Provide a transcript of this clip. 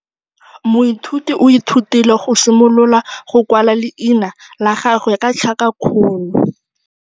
Moithuti o ithutile go simolola go kwala leina la gagwe ka tlhakakgolo.